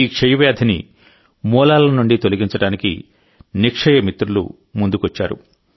ఈ క్షయ వ్యాధిని మూలాల నుండి తొలగించడానికినిక్షయ మిత్రులు ముందుకొచ్చారు